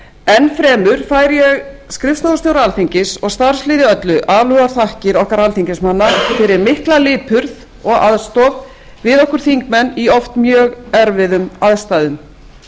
enn fremur færi ég skrifstofustjóra alþingis og starfsliði öllu alúðarþakkir okkar alþingismanna fyrir mikla lipurð og aðstoð við okkur þingmenn í oft mjög erfiðum aðstæðum